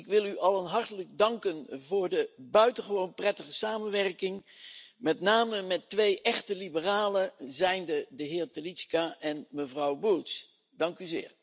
Ik wil u allen hartelijk danken voor de buitengewoon prettige samenwerking, met name met twee echte liberalen, zijnde de heer Telička en mevrouw Bulc.